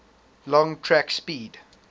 long track speed